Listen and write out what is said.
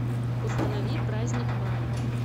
установи праздник мая